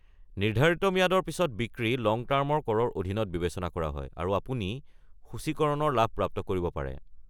নিৰ্ধাৰিত ম্যাদৰ পিছত বিক্ৰী লং টাৰ্ম কৰৰ অধীনত বিবেচনা কৰা হয় আৰু আপুনি সূচীকৰণৰ লাভ প্ৰাপ্ত কৰিব পাৰে।